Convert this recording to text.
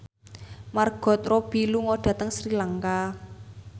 Margot Robbie lunga dhateng Sri Lanka